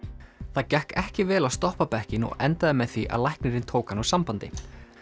það gekk ekki vel að stoppa bekkinn og endaði með því að læknirinn tók hann úr sambandi